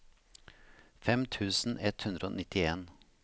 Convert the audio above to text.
fem tusen ett hundre og nittien